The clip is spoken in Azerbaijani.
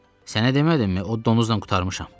Sənə demədimmi o donuzla qurtarmışam?